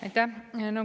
Aitäh!